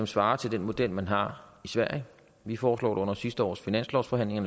svarer til den model man har i sverige vi foreslog under sidste års finanslovsforhandlinger